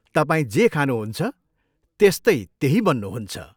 तपाईँ जे खानुहुन्छ, त्यस्तै त्यही बन्नुहुन्छ।